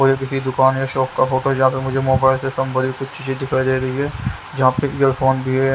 किसी दुकान या शॉप का फोटो जहाँ पे मुझे मोबाइल से संबंधित कुछ चीजें दिखाई दे रही है जहाँ पे ईयरफोन भी है।